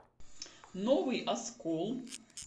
новый оскол